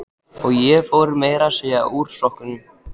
Og ég fór meira að segja úr sokkunum.